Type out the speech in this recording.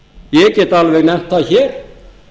ég get alveg nefnt það hér